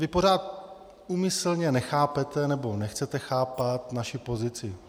Vy pořád úmyslně nechápete, nebo nechcete chápat naši pozici.